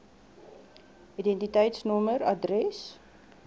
id nommer adres